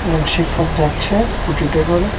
একজন শিক্ষক যাচ্ছে স্কুটিতে করে।